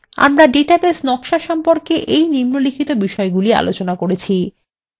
সংক্ষেপে আমরা ডাটাবেস নকশা সম্পর্কে এই নিম্নলিখিত বিষয়গুলি আলোচনা করেছি :